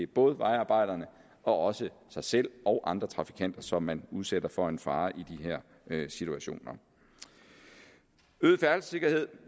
både vejarbejderne og også sig selv og andre trafikanter som man udsætter for en fare i de her situationer øget færdselssikkerhed